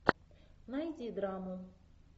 найди драму